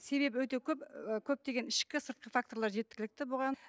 себебі өте көп ііі көптеген ішкі сыртқы факторлар жеткілікті бұған